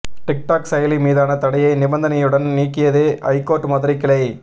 tic tac செயலி மீதான தடையை நிபந்தனையுடன் நீக்கியது ஐகோர்ட் மதுரை கிளை